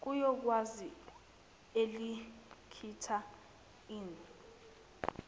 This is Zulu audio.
yokugwaza elingitta inn